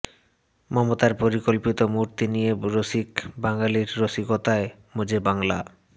মমতার পরিকল্পিত মূর্তি নিয়ে রসিক বাঙালির রসিকতায় মজে বাংলা